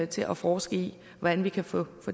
til at forske i hvordan vi kan få